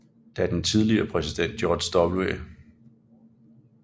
Da den tidligere præsident George W